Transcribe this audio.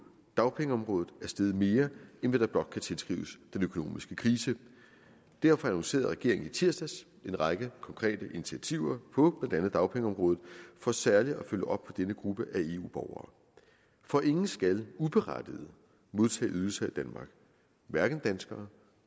dagpengeområdet er steget mere end hvad der blot kan tilskrives den økonomiske krise derfor annoncerede regeringen i tirsdags en række konkrete initiativer på andet dagpengeområdet for særlig at følge op på denne gruppe af eu borgere for ingen skal uberettiget modtage ydelser i danmark hverken danskere